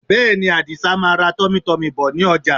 Bẹ́ẹ̀ni, Àdìsa máa ra tummytummy bọ̀ ní ọjà